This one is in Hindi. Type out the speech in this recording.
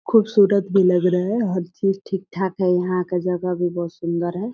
खूबसूरत भी लग रहा है हर चीज ठीक-ठाक है यहाँ का जगह भी बहुत सुंदर है।